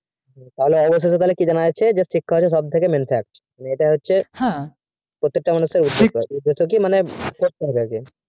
তাহলে অবশেষে তাহলে কি জানা যাচ্ছে তাহলে শিক্ষা হচ্ছে সবচেয়ে মেন কাজ